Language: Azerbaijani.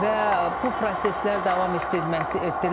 Və bu proseslər davam etdirilməkdədir.